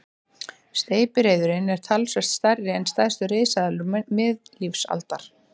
Steypireyðurin er talsvert stærri en stærstu risaeðlur miðlífsaldar.